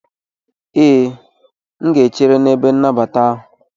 Ee, M ga-echere n'ebe nnabata ahụ.